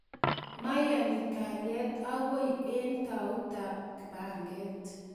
mayone kalyet agoi eng tautab panget